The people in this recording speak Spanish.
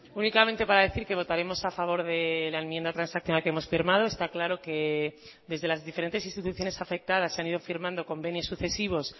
únicamente para decir que votaremos a favor de la enmienda transaccional que hemos firmado está claro quedesde las diferentes instituciones afectadas se han ido firmando convenios sucesivos